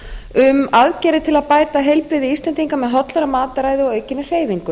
um aðgerðir til að bæta heilbrigði íslendinga með hollara mataræði og aukinni hreyfingu